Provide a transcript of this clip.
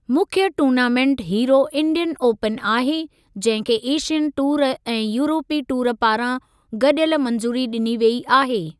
मुख्य tournament Hero Indian Open आहे, जंहिं खे एशियन टूर ऐं यूरोपी टूर पारां गॾियल मंज़ूरी ॾिनी वेई आहे।